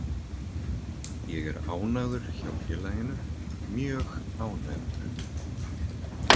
Ég er ánægður hjá félaginu, mjög ánægður.